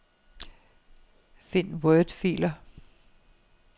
Find wordfiler.